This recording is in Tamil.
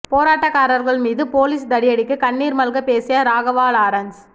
போராட்டக்காரர்கள் மீது போலீஸ் தடியடிக்கு கண்ணீர் மல்க பேசிய ராகவா லாரன்ஸ்